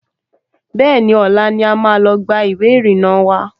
Bẹ́ẹ̀ni, ọ̀la ni a máa lọ gba ìwé ìrìnnà wa